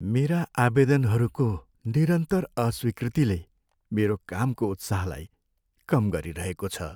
मेरा आवेदनहरूको निरन्तर अस्वीकृतिले मेरो कामको उत्साहलाई कम गरिरहेको छ।